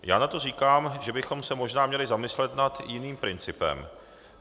Já na to říkám, že bychom se možná měli zamyslet nad jiným principem.